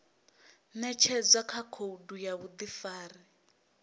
ṅetshedzwa kha khoudu ya vhuḓifari